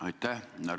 Aitäh!